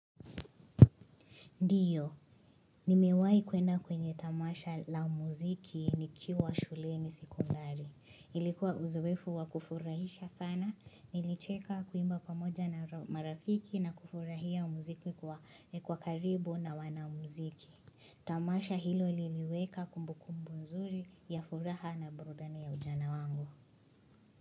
Ndiyo, nimewahi kwenda kwenye tamasha la muziki nikiwa shuleni sekondari. Ilikuwa uzoefu wa kufurahisha sana, nilicheka kuimba kwa moja na marafiki na kufurahia umuziki kwa karibu na wana muziki. Tamasha hilo liliweka kumbukumbu nzuri ya furaha na burudani ya ujana wangu.